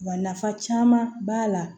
Wa nafa caman b'a la